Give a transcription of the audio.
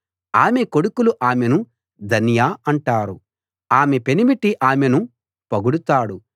ఆమె కొడుకులు ఆమెను ధన్య అంటారు ఆమె పెనిమిటి ఆమెను పొగడుతాడు